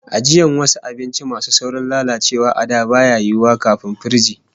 Ajiyan wasu abinci masu saurin lalacewa a da baya yiwo, kafin firiji